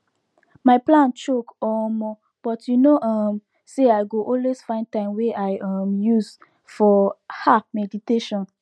my plan choke omo but you know um say i go always find time wey i um use for ah meditation